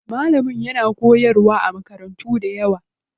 Malamin yana koyarwa a makarantu dayawa.